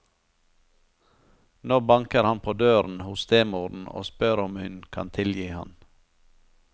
Nå banker han på døren hos stemoren og spør om hun kan tilgi ham.